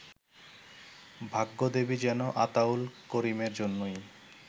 ভাগ্যদেবী যেন আতাউল করিমের জন্যই